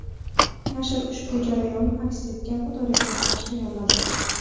Nashr ushbu jarayon aks etgan fotoreportaj tayyorladi.